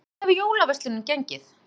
En hvernig hefur jólaverslunin gengið?